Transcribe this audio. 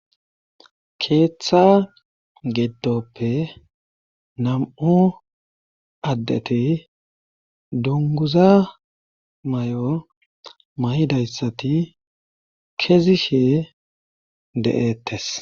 keeththa geddoppe nam7u addeti dunguza may7o may7dayssati kezi shee de7ettes